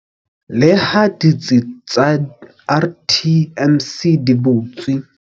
Leha ditsi tsa RTMC di butswe.